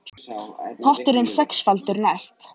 Potturinn sexfaldur næst